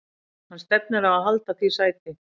Hann stefnir á að halda því sæti.